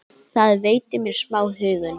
Það veitir mér smá huggun.